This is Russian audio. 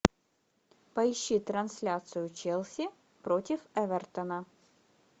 поищи трансляцию челси против эвертона